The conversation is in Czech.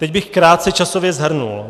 Teď bych krátce časově shrnul.